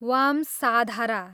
Vamsadhara